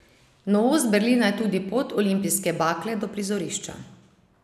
Novost Berlina je tudi pot olimpijske bakle do prizorišča.